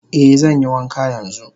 Eh zanyi wanka yanzu.